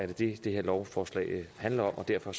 det det her lovforslag handler om og derfor